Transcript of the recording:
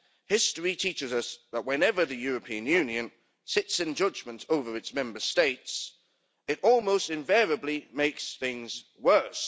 History teaches us that whenever the European Union sits in judgment over its Member States, it almost invariably makes things worse.